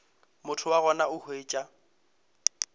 motho wa gona o hwetša